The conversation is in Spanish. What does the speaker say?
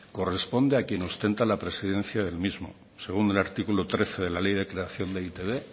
corresponde a quien ostenta la presidencia del mismo según el artículo trece de la ley de creación de e i te be